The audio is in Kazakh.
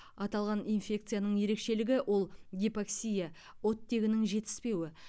аталған инфекцияның ерекшелігі ол гипоксия оттегінің жетіспеуі